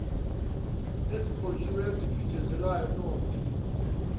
ezikhonjiwe eziphithizelayo node